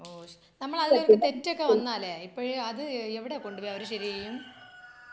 ഓ ശരി. നമ്മൾ അതില് ഒരു തെറ്റൊക്കെ വന്നാല് ഇപ്പഴ് അത് എവിടെ കൊണ്ടുപോയി അവര് ശരി ചെയ്യും .